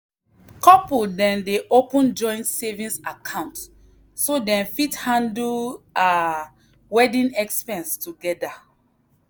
couple dem dey open joint savings account so dem fit handle um wedding expense together.